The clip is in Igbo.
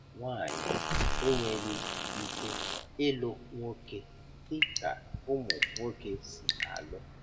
Nwanyị enweghị ike ịlụ nwoke dị ka ụmụ nwoke si alụ.